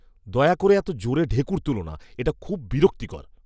দয়া করে এত জোরে ঢেঁকুর তুলো না, এটা খুব বিরক্তিকর।